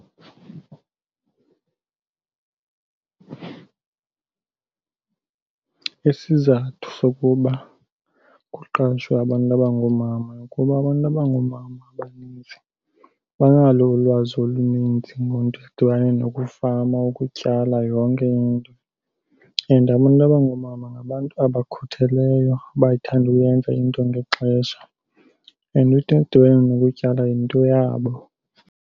Isizathu sokuba kuqashwe abantu abangoomama kuba abantu abangoomama abanintsi banalo ulwazi oluninzi ngento edibane nokufama, ukutyala, yonke into. And abantu abangoomama ngabantu abakhutheleyo, abayithanda uyenza into ngexesha and into edibene nokutyala yinto yabo.